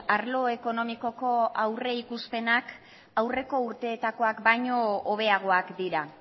arlo ekonomikoko aurrikuspenak aurreko urteetakoak baino hobeagoak dira